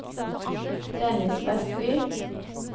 Dennis Westby